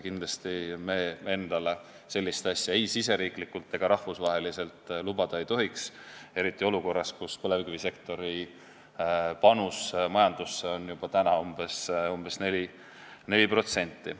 Kindlasti me endale sellist asja ei riigisiseselt ega rahvusvaheliselt lubada ei tohiks, eriti olukorras, kus põlevkivisektori panus majandusse on juba umbes 4%.